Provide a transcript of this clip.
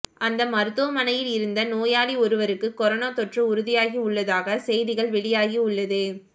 அந்த மருத்துவமனையில் இருந்த நோயாளி ஒருவருக்கு கொரோனா தொற்று உறுதியாகி உள்ளதாக செய்திகள் வெளியாகி உள்ளது